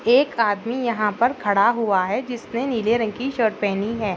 एक आदमी यहाँ पर खड़ा हुआ है जिसने नीले रंग की शर्ट पहनी है।